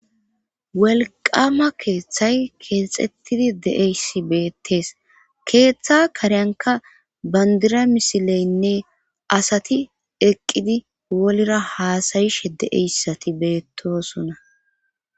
Wolqama keeththay keexettidi de7eyssi beettees keeththa kariyanka bandira misileynne asati eqqidi wolra haasayishe de7eyssati beettosona.